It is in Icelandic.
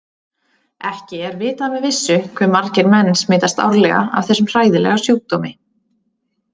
Ekki er vitað með vissu hve margir menn smitast árlega af þessum hræðilega sjúkdómi.